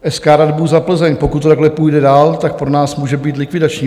SK Radbuza Plzeň: "Pokud to takhle půjde dál, tak to pro nás může být likvidační.